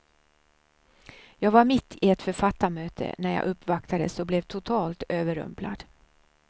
Jag var mitt i ett författarmöte när jag uppvaktades och blev totalt överrumplad.